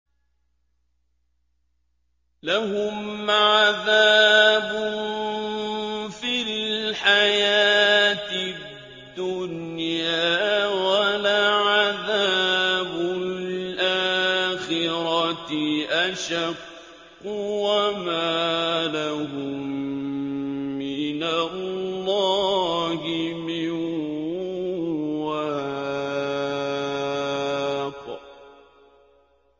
لَّهُمْ عَذَابٌ فِي الْحَيَاةِ الدُّنْيَا ۖ وَلَعَذَابُ الْآخِرَةِ أَشَقُّ ۖ وَمَا لَهُم مِّنَ اللَّهِ مِن وَاقٍ